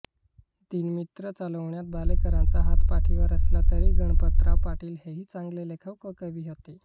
दीनमित्र चालविण्यात भालेकरांचा हात पाठीवर असला तरी गणपतराव पाटील हेही चांगले लेखक व कवी होते